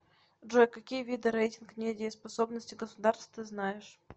джой какие виды рейтинг недееспособности государств ты знаешь